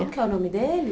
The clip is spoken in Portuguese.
Que é o nome dele?